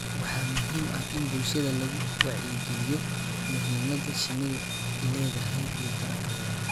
Waxaa muhiim ah in bulshada lagu wacyigaliyo muhiimadda shinnidu leedahay iyo tarankeeda.